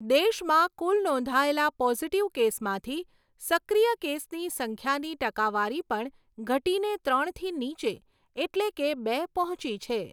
દેશમાં કુલ નોંધાયેલા પોઝિટીવ કેસમાંથી સક્રિય કેસની સંખ્યાની ટકાવારી પણ ઘટીને ત્રણથી નીચે એટલે કે બે પહોંચી છે.